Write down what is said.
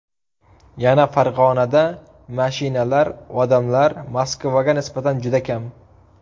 Yana Farg‘onada mashinalar, odamlar Moskvaga nisbatan juda kam.